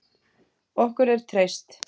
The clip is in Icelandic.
Okkur er treyst